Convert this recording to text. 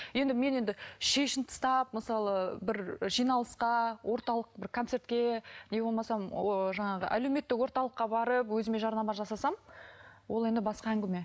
енді мен енді шешініп тастап мысалы бір жиналысқа орталық бір концертке не болмасам ооо жаңағы әлеуметтік орталыққа барып өзіме жарнама жасасам ол енді басқа әңгіме